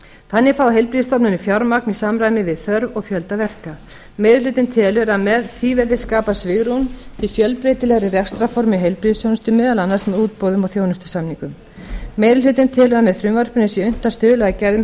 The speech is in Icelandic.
þannig fái heilbrigðisstofnanir fjármagn í samræmi við þörf og fjölda verka meiri hlutinn telur að með því verði skapað svigrúm til fjölbreytilegri rekstrarforma í heilbrigðisþjónustu meðal annars með útboðum og þjónustusamningum meiri hlutinn telur að með frumvarpinu sé unnt að stuðla að gæðum